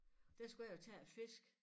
Der skulle jeg jo tage æ fisk